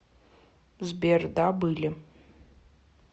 сбер да были